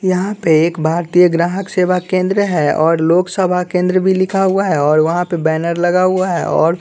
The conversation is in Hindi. यहाँ पे एक भारतीय ग्राहक सेवा केंद्र है और लोकसभा केंद्र भी लिखा हुआ है और वहाँ पर बैनर लगा हुआ है और --